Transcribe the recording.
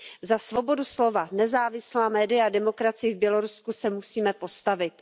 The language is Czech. Za svobodu slova, nezávislá média a demokracii v Bělorusku se musíme postavit.